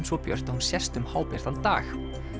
svo björt að hún sést líka um hábjartan dag